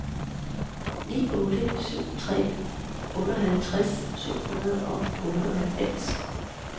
ni otte syv tre otteoghalvtreds syv hundrede og otteoghalvfems